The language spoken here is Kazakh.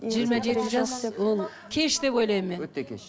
жиырма жеті жас ол кеш деп ойлаймын мен өте кеш